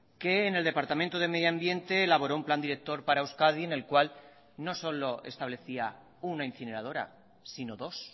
que en el departamento de medioambiente elaboró un plan director para euskadi en el cual no solo establecía una incineradora sino dos